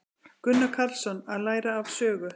Gunnar Karlsson: Að læra af sögu.